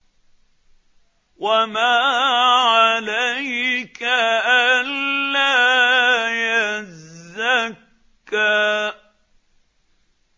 وَمَا عَلَيْكَ أَلَّا يَزَّكَّىٰ